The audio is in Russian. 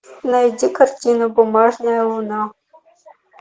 найди картину бумажная луна